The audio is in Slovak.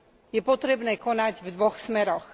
Je potrebné konať v dvoch smeroch.